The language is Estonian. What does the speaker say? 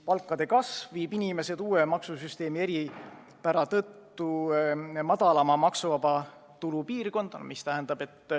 Palkade tõus viib inimesed uue maksusüsteemi eripära tõttu väiksema maksuvaba tulu kategooriasse.